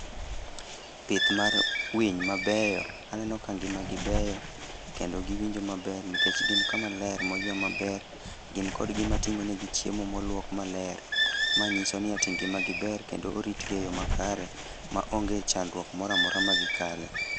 Pith mar winy mabeyo. Aneno ka ngima gi beyo. Kendo giwinjo maber nikech, gin kamaler, ma oywe maber. Gin kod gima tingó negi chiemo moluok maler. Ma nyiso ni ati ngima gi ber kendo orit gi e yo makare ma onge chandruok moro amora ma gikale.